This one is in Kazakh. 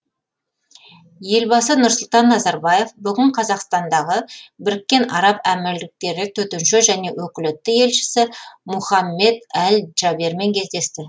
елбасы нұрсұлтан назарбаев бүгін қазақстандағы біріккен араб әмірліктері төтенше және өкілетті елшісі мұхаммедәл джабермен кездесті